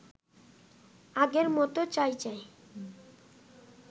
আগের মতো চাই চাই